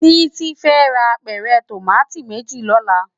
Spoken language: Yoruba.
Titi fè rá ápèrè tómàtó méjí lòlá